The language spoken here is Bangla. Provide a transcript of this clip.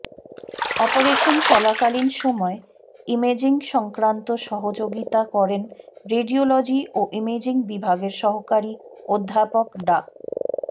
অপারেশন চলাকালীন সময়ে ইমেজিং সংক্রান্ত সহযোগিতা করেন রেডিওলজি ও ইমেজিং বিভাগের সহকারী অধ্যাপক ডা